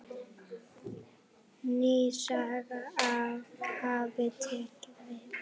Ný saga hafi tekið við.